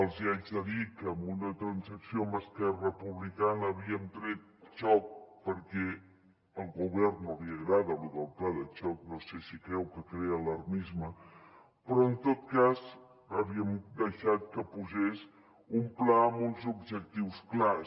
els hi haig de dir que en una transacció amb esquerra republicana havíem tret xoc perquè al govern no li agrada lo del pla de xoc no sé si creu que crea alarmisme però en tot cas havíem deixat que posés un pla amb uns objectius clars